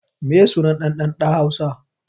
Meye suna ɗan ɗan ɗa hausa